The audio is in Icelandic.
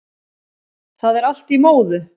Það er allt í móðu